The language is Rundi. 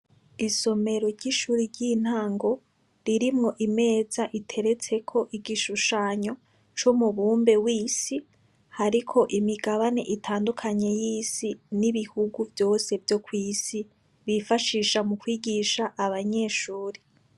Isomero ry' ishure ry'intango, ririmwo imeza iteretseko igishushanyo c' umubumbe wisi, hariko imigabane itandukanye y'isi n' ibihugu vyose vyo kwisi, bifashisha mukwigisha abanyeshure.